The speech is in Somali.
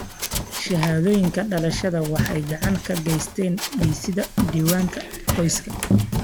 Shahaadooyinka dhalashada waxay gacan ka geystaan ??dhisida diiwaanka qoyska.